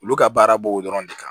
Olu ka baara b'o dɔrɔn de kan